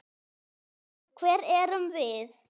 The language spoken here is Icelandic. Hver erum við?